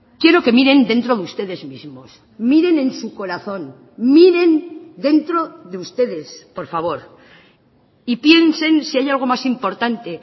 quiero que miren dentro de ustedes mismos miren en su corazón miren dentro de ustedes por favor y piensen si hay algo más importante